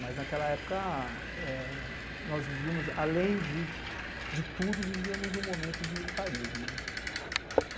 Mas, naquela época, nós vivíamos, além de tudo, vivíamos um momento de militarismo.